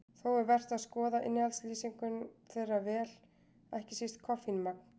Þó er vert að skoða innihaldslýsingu þeirra vel, ekki síst koffínmagn.